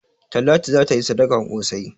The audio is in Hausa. Talatu za ta yi sadakan ƙosai.